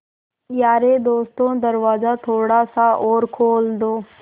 यारे दोस्तों दरवाज़ा थोड़ा सा और खोल दो